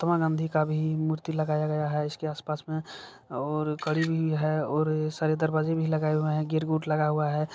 महात्मा गाँधी का भी मूर्ति लगाया है। इसके आस-पास में और कड़ी भी है और सारे दरवाजे भी लगाये हुए है। गेट गुट लगा हुआ है।